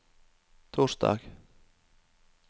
torsdag